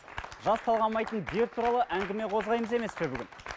жас талғамайтын дерт туралы әңгіме қозғаймыз емес пе бүгін